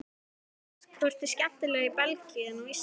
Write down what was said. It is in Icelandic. Hödd: Hvort er skemmtilegra í Belgíu en á Íslandi?